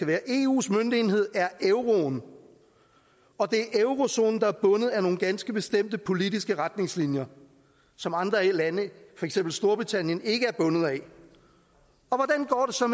være eus møntenhed er euroen og det er eurozonen der er bundet af nogle ganske bestemte politiske retningslinjer som andre lande for eksempel storbritannien ikke er bundet af